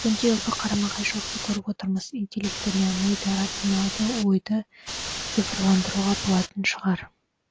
бүгінде ұлы қарама қайшылықты көріп отырмыз интеллектіні миды рационалды ойды цифрландыруға болатын шығар